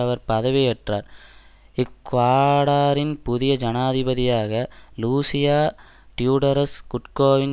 அவர் பதவியேற்றார் இக்குவாடாரின் புதிய ஜனாதிபதியாக லூசியா டியூடரஸ் குட்டோவின்